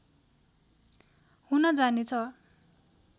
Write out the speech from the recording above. हुन जानेछ